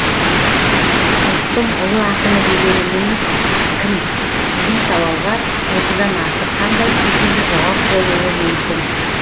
ұлттың ұлы ақыны дегеніміз кім деген сауалға осыдан артық қандай қисынды жауап болуы мүмкін